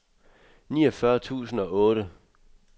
niogfyrre tusind og otte